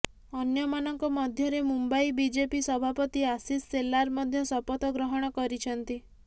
ଅନ୍ୟମାନଙ୍କ ମଧ୍ୟରେ ମୁମ୍ବାଇ ବିଜେପି ସଭାପତି ଆଶିଷ ସେଲାର ମଧ୍ୟ ଶପଥ ଗ୍ରହଣ କରିଛନ୍ତି